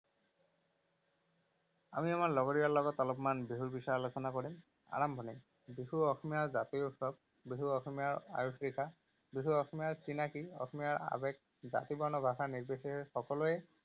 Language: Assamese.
আমি আমাৰ লগৰীয়াৰ লগত অলপমান বিহুৰ বিষয়ে আলোচনা কৰিম। আৰম্ভণি, বিহু অসমীয়াৰ জাতীয় উৎসৱ, বিহু অসমীয়াৰ আয়ুসৰেখা, বিহু অসমীয়াৰ চিনাকি, অসমীয়াৰ আবেগ, জাতি বৰ্ণ, ভাষা নিৰ্বিশেষে সকলোৱে